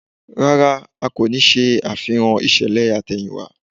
Rárá, a kò ní ṣe àfihàn ìṣẹ̀lẹ̀ àtẹ̀yìnwá